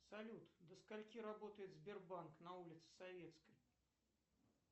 салют до скольки работает сбербанк на улице советской